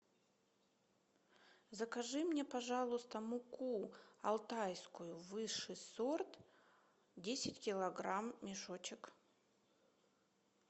закажи мне пожалуйста муку алтайскую высший сорт десять килограмм мешочек